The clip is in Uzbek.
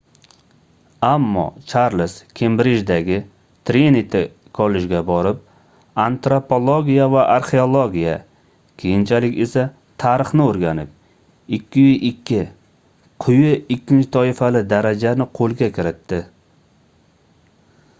ammo charlz kembrijdagi triniti kollejga borib antropologiya va arxeologiya keyinchalik esa tarixni o'rganib 2:2 quyi ikkinchi toifali daraja ni qo'lga kiritdi